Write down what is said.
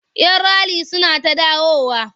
Yan rali suna ta dawowa.